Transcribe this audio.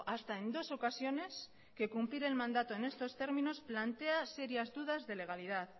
hasta en dos ocasiones que cumplir el mandato en estos términos plantea serias dudas de legalidad